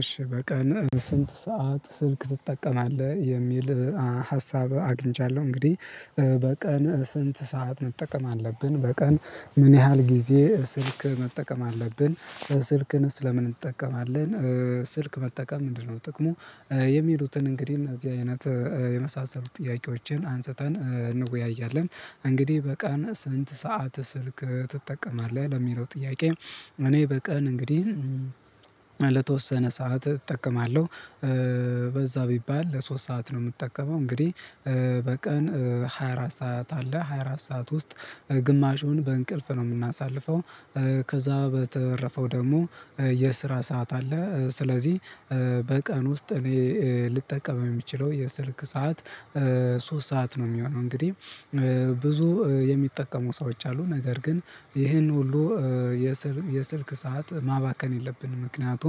እሺ በቀን ስንት ሰዓት ስልክ ትጠቀማለህ የሚል ሀሳብ አግኝቻለሁ እንግዲህ በቀን ስንት ሰዓት መጠቀም አለብን በቀን ምን ያህል ጋዜ ስልክ መጠቀም አለብን ስልክን ለምን እንጠቀማለን? ስልክ መጠቀም ምንድነው ጥቅሙ? የሚሉትን እንግዲህ እነዚህ አይነት የመሳሰሉ ጥያቄዎችን አንስተን እንወያያለን። እንግዲህ በቃን ስንት ሰዓት ስልክ ትጠቀማለህ ያለምነው ጥያቄ እኔ በቀን እንግዲህ ለተወሰነ ሰዓት እጠቀማለሁ። በዛ ቢባል ለሶስት ሰዓት ነው የምጠቀመው እንግዲህ። በቀን ሀያራት ሰዓት አለ ሀያራት ሰዓት ውስጥ ግማሹን በእንቅልፍ ነው የምናሳልፈው። ከዛ በተረፈው ደግሞ የስራ ሰዓት አለ ስለዚህ በቀን ውስጥ እኔ ልጠቀም የሚችለው የስልክ ሰዓት ሶስት ሰዓት ነው የሚሆነው። እንግዲህ ብዙ የሚጠቀሙ ሰዎች አሉ ነገር ግን ይሄን ሁሉ የስልክ ሰዓት ማባከን የለብንም። ምክንያቱም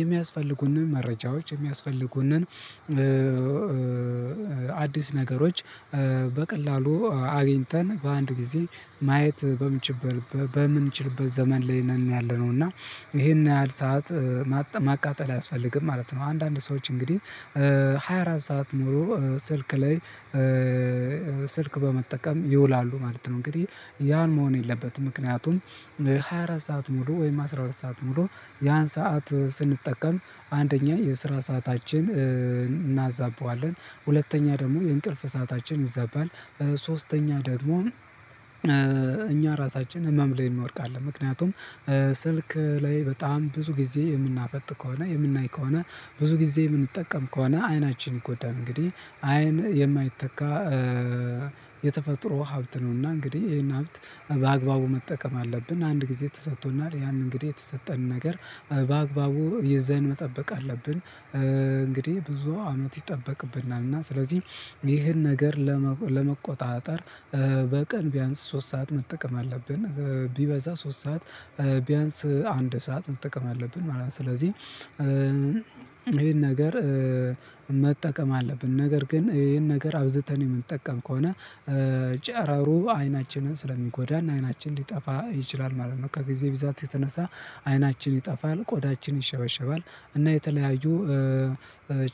የሚያስፈልጉንን መረጃዎች የሚያስፈልጉንን አዳዲስ ነገሮች በቀላሉ አግኝተን በአንድ ጊዜ ማየት በምንችልበት በምንችልበት ዘመን ላይ ነን ያለነው እና ይሄን ያህል ሰዓት ማቃጠል አያስፈልግም ማለት ነው። አንዳንድ ሰዎች እንግዲህ ሀያአራት ሰዓት ኖሮ ስልክ ላይ ስልክ በመጠቀም ይውላሉ ማለት ነው። እንግዲህ ያን መሆን የለበትም ምክንያቱም ሀያአራት ሰዓት ሙሉ ወይም አስራሁለት ሰዓት ሙሉ ያን ሰዓት ስንጠቀም አንደኛ የስራ ሰዓታችን እናዛበዋለን ሁለተኛ ደግሞ የእንቅልፍ ሰዓታችን ይዛባል። ሶስተኛ ደግሞ እኛ ራሳችን ህመም ላይ እንወድቃለን አለ ምክንያቱም ስልክ ላይ በጣም ብዙ ጊዜ የምናፈጥ ከሆነ የምናይ ከሆነ ብዙ ጊዜ የምንጠቀም ከሆነ አይናችን ይጎዳል። እንግዲህ አይን የማይተካ የተፈጥሮ ሀብት ነውና እንግዲህ ይሄን ሀብት በአግባቡ መጠቀም አለብን። አንድ ጊዜ ተሰጥቶናል ያን እንግዲህ የተሰጠን ነገር በአግባቡ የዛን መጠበቅ አለብን እንግዲህ ብዙ አመት ይጠበቅብናል። እና ስለዚህ ይህን ነገር ለመቆጣጠር በቀን ቢያንስ ሶስት ሰዓት መጠቀም አለብን ቢበዛ ሶስት ሰዓት ቢያንስ አንድ ሰዓት መጠቀም አለብን ማለት ነው። ስለዚህ ይሄን ነገር መጠቀም አለብን ነገር ግን ይሄን ነገር አብዝተን የምንጠቀም ከሆነ ጨረሮ አይናችንን ስለሚጎዳና አይናችን ሊጠፋ ይችላል ማለት ነው። ከጊዜ ብዛት የተነሳ አይናችን ይጠፋል ቆዳችን ይሸበሸባል እና የተለያዩ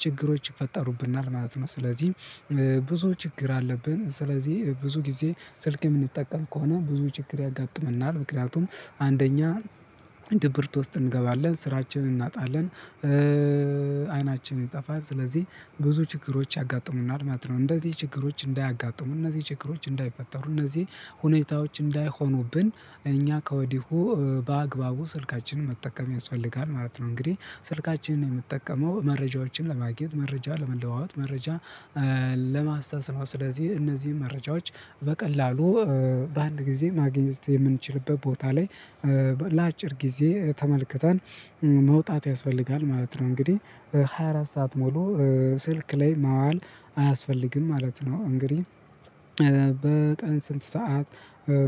ችግሮች ይፈጠሩብናል ማለት ነው። ስለዚህ ብዙ ችግር አለብን ስለዚህ ብዙ ጊዜ ስልክ የምንጠቀም ከሆነ ብዙ ችግር ያጋጥመናል ምክንያቱም አንደኛ ድብርት ውስጥ እንገባለን ስራችንን እናጣለን አይናችንን ይጠፋል ስለዚህ ብዙ ችግሮች ያጋጥሙናል ማለት ነው። እንደዚህ ችግሮች እንዳያጋጥሙ እነዚህ ችግሮች እንዳይፈጠሩ እነዚህ ሁኔታዎች እንዳይሆኑብን እኛ ከወዲሁ በአግባቡ ስልካችንን መጠቀም ያስፈልጋል ማለት ነው። እንግዲህ ስልካችንን የምትጠቀመው መረጃዎችን ለማግኘት መረጃ ለመለዋወጥ መረጃ ለማስተስመዋስ ስለዚህ እነዚህን መረጃዎች በቀላሉ በአንድ ጊዜ ማግኘት የምንችልበት ቦታ ላይ ለአጭር ጊዜ ተመልክተን መውጣት ያስፈልጋል ማለት ነው። እንግዲህ ሀያአራት ሰዓት ሙሉ ስልክ ላይ ማዋል አያስፈልግም ማለት ነው። እንግዲህ በቀን ስንት ሰዓት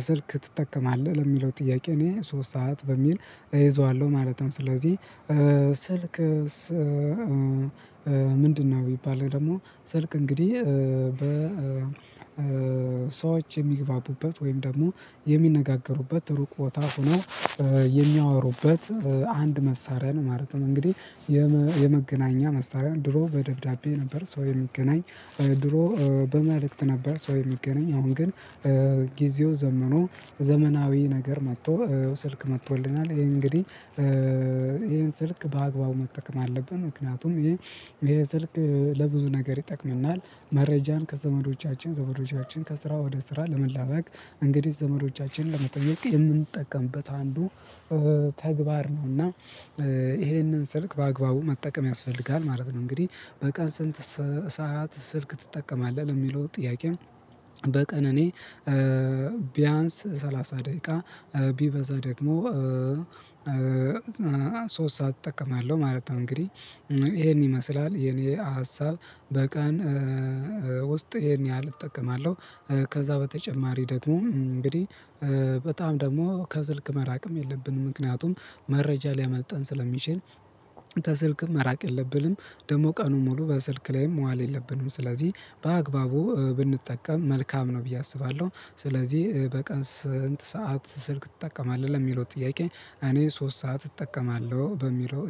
ስልክ ትጠቀማለህ ለሚለው ጥያቄ እኔ ሶስት ሰዓት በሚል እይዘዋለሁ ማለት ነው። ስለዚህ ስልክ ምንድነው ቢባል ደግሞ ስልክ እንግዲህ በ ሰዎች የሚግባቡበት ወይም ደግሞ የሚነጋገሩበት ሩቅ ቦታ ሆኖ የሚያወሩበት አንድ መሳሪያ ነው። ማለትም እንግዲህ የመገናኛ መሳሪያ ድሮ በደብዳቤ ነበር ሰው የሚገናኝ ድሮ በመልእክት ነበር ሰው የሚገናኝ አሁን ግን ጊዜው ዘመኑ ዘመናዊ ነገር መጥቶ ስልክ መጥቶልናል። ይሄ እንግዲህ ይሄን ስልክ በአግባቡ መጠቀም አለብን ምክንያቱም ይሄ የስልክ ለብዙ ነገር ይጠቅመናል። መረጃን ከዘመዶቻችን ዘመዶቻችን ከስራ ወደ ስራ ለመላዋቅ እንግዲህ ዘመዶቻችንን ለመጠየቅ የምንጠቀምበት አንዱ ተግባር ነው። እና ይሄንን ስልክ በአግባቡ መጠቀም ያስፈልጋል ማለት ነው። እንግዲህ በቀን ስንት ሰዓት ስልክ ትጠቀማለህ የሚለው ጥያቄው በቀን እኔ ቢያንስ ሰላሳ ደቂቃ ቢበዛ ደግሞ ሶስት ሰዓት እጠቀማለሁ ማለት ነው። እንግዲህ ይሄን ይመስላል የኔ ሀሳብ በቀን ውስጥ ይሄን ያህል እጠቀማለሁ ከዛ በተጨማሪ ደግሞ እንግዲህ በጣም ደግሞ ከስልክ መራቅም የለብንም ምክንያቱም መረጃ ሊያመልጠን ስለሚችል ከስልክም መራቅ የለብንም ደግሞ ቀኑን ሙሉ በስልክ ላይም ዋል የለብንም ስለዚህ በአግባቡ ብንጠቀም መልካም ነው ብዬ አስባለሁ። ስለዚህ በቀን ስንት ሰዓት ስልክ ትጠቀማለህ ለሚለው ጥያቄ እኔ ሶስት ሰዓት እጠቀማለሁ በሚለው